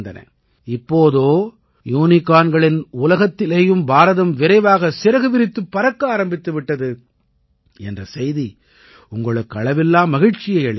இப்போதோ யூனிகார்களின் உலகத்திலேயும் பாரதம் விரைவாகச் சிறகு விரித்துப் பறக்க ஆரம்பித்து விட்டது என்ற செய்தி உங்களுக்கு அளவில்லா மகிழ்ச்சியை அளிக்கலாம்